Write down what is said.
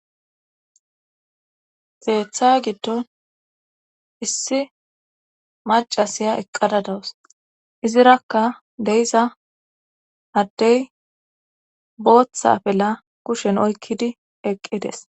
Keetha giddon issi macasiya eqqada dawus izirakka de7iza addey booththa afila kushen oykkidi eqqides